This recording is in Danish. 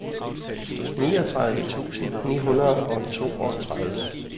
niogtredive tusind ni hundrede og toogtredive